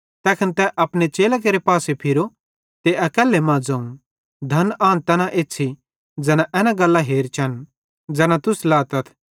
तैखन तैनी अपने चेलां केरे पासे फिरो अकैल्ले मां ज़ोवं धन आन तैना एछ़्छ़ी ज़ैना एना गल्लां हेरचन ज़ैना गल्लां तुस लातथ